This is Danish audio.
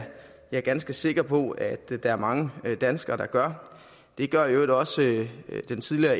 jeg ganske sikker på at der er mange danskere der gør det gør i øvrigt også den tidligere